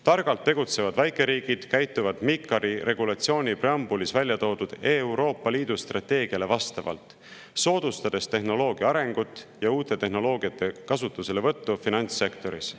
Targalt tegutsevad väikeriigid käituvad MiCAR-i regulatsiooni preambulis välja toodud Euroopa Liidu strateegiale vastavalt, soodustades tehnoloogia arengut ja uute tehnoloogiate kasutuselevõttu finantssektoris.